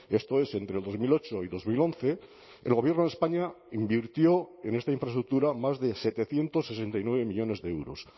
esto es entre dos mil ocho y dos mil once el gobierno de españa invirtió en esta infraestructura más de setecientos sesenta y nueve millónes de euros